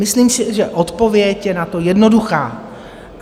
Myslím si, že odpověď je na to jednoduchá.